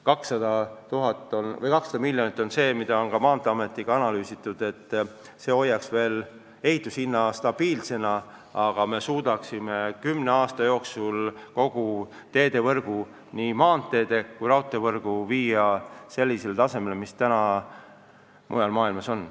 Seda on ka Maanteeametiga analüüsitud ja leitud, et 200 miljonit on summa, mis hoiaks ehitushinnad stabiilsena, aga me suudaksime kümne aasta jooksul kogu teedevõrgu, nii maanteede kui raudteevõrgu viia sellisele tasemele, nagu see mujal maailmas on.